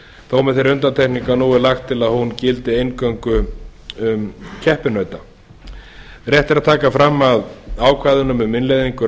með þeirri undantekningu að nú er lagt til að hún gildi eingöngu um keppinauta rétt er að taka fram að ákvæðunum um innleiðingu